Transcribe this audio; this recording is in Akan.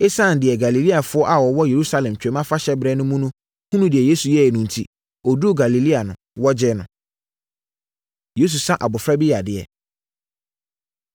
ɛsiane deɛ Galileafoɔ a wɔwɔ Yerusalem Twam Afahyɛ berɛ no mu no hunuu deɛ Yesu yɛeɛ no enti, ɔduruu Galilea no, wɔgyee no. Yesu Sa Abɔfra Bi Yadeɛ